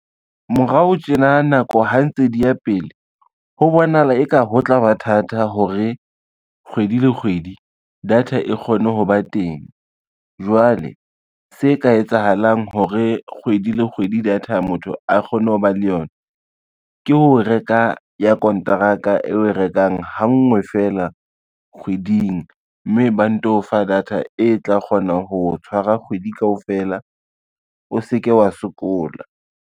Morao tjena nako ha ntse di ya pele, ho bonahala eka ho tla ba thata hore, kgwedi le kgwedi data e kgone ho ba teng. Jwale se ka etsahalang hore kgwedi le kgwedi data motho a kgone ho ba le yona ke ho reka ya kontraka e o e rekang ha nngwe fela kgweding, mme ba nto fa data e tla kgona ho tshwara kgwedi kaofela o se ke wa sokola.